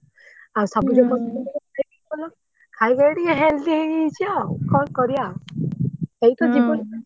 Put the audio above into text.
ଆଉ ସବୁଜ ପନିପରିବା ଖାଇ ଖାଇ ଟିକେ healthy ହେଇଯାଇଛି ଆଉ କଣ କରିଆ ଏଇ ତ ଜୀବନ